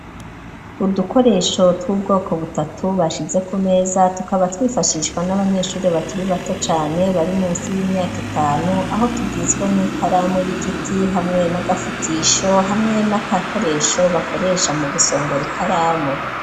Udukoresho tw'ubwoko butatu bashize ku meza, tukaba twifashishwa n'abanyeshure bakiri bato cane bari musi y'imyaka itanu, aho tugizwe n'ikaramu y'igiti hamwe n'agafutisho hamwe n'agakoresho bakoresha mu gusongora ikaramu.